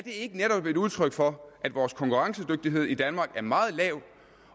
ikke netop et udtryk for at vores konkurrencedygtighed i danmark er meget lav